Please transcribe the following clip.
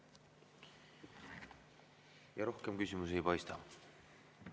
Rohkem küsimusi ei paista.